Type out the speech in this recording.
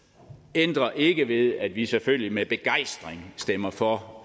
ændrer ikke ved at vi selvfølgelig med begejstring stemmer for